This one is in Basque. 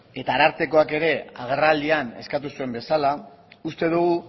eta arartekoak ere agerraldian eskatu zuen bezala uste dugu